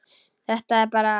Það er bara.